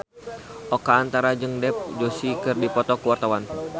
Oka Antara jeung Dev Joshi keur dipoto ku wartawan